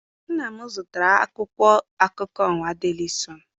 Nna m zụtara akwụkwọ akụkọ ụwa deli sọọnụ.